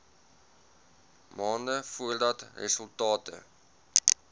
maande voordat resultate